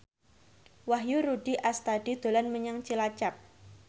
Wahyu Rudi Astadi dolan menyang Cilacap